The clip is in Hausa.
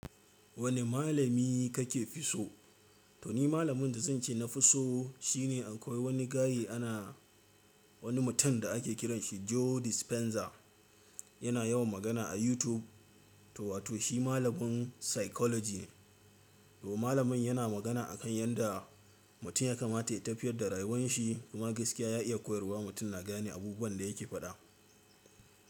Wani malami kake fi so? To ni malamin da zan ce na fi so shine akwai wani gaye ana wani mutum da ake kiranshi Joe Dispenza. Yana yawan magana a YouTube. To wato shi malamin Psychology ne. To Malamin yana magana akan yadda mutum ya kamata ya tafiyar da rayuwar shi kuma gaskiya ya iya koyarwa. Mutum na gane abubuwan da yake faɗa.